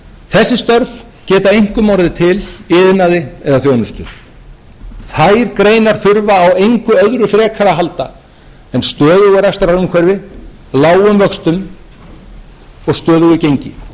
þessi störf geta einkum orðið til í iðnaði eða þjónustu þær greinar þurfa á engu öðru frekar að halda en stöðugu rekstrarumhverfi lágum vöxtum og stöðugu gengi okkur hefur brugðist bogalistin við að